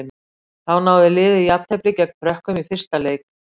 Þá náði liðið jafntefli gegn Frökkum í fyrsta leik.